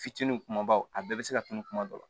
Fitinin kumabaw a bɛɛ bɛ se ka tunun kuma dɔ la